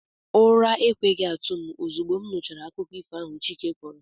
ura ekwehi atu m ozugbo nuchara akuko ifo ahu chike koro